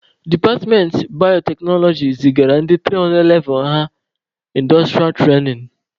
Departmentị bayoteknoloji zigara ndị 300 levụ ha ịndọstụrịa trainin.